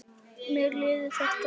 Mér leiðist þetta.